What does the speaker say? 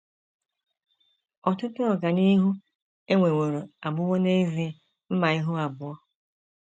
Ọtụtụ “ ọganihu ” e nweworo abụwo n’ezie mma ihu abụọ.